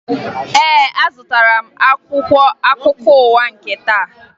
Ee, azụtara m akwụkwọ akụkọ ụwa nke taa